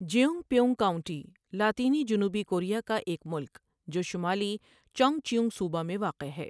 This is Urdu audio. جئونگپیئونگ کاؤنٹی لاطینی جنوبی کوریا کا ایک ملک جو شمالی چونگچیونگ صوبہ میں واقع ہے۔